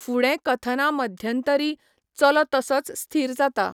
फुडें कथना मध्यंतरी, चलो तसोच स्थीर जाता.